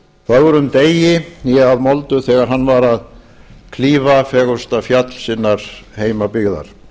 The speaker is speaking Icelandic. fögrum degi hné að moldu þegar hann var að klífa fegursta fjall sinnar heimabyggðar